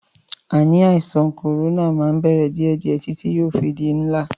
Ànì àìsàn kòrónà máa ń bẹ̀rẹ̀ díẹ̀díè títí yóò fi di ńlá.